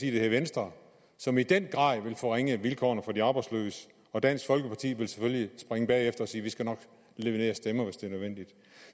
hedder venstre som i den grad ville forringe vilkårene for de arbejdsløse og dansk folkeparti ville selvfølgelig springe bagefter og sige vi skal nok levere stemmer hvis det er nødvendigt